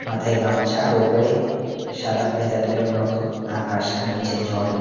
মাথায় গামছা আর ওপরে সাদা পেঁজা তুলোর মত আকাশ আর নীচে জল।